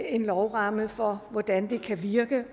en lovramme for hvordan det kan virke